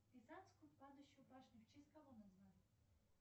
пизанскую падающую башню в честь кого назвали